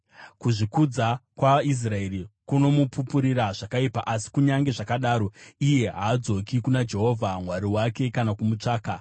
Kuzvikudza kwaIsraeri kunomupupurira zvakaipa, asi kunyange zvakadaro haadzoki kuna Jehovha Mwari wake kana kumutsvaka.